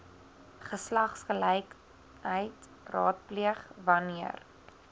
geslagsgelykheid raadpleeg wanneer